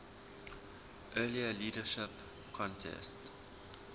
earlier leadership contest